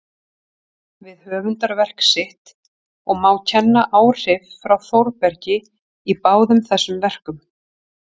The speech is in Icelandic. við höfundarverk sitt, og má kenna áhrif frá Þórbergi í báðum þessum verkum.